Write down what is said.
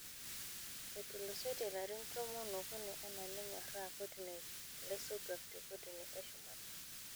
Etulusoitie ilarin tomo oo okuni ana nenyoraa kotini laisotuak te kotini e shumata.